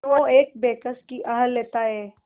क्यों एक बेकस की आह लेता है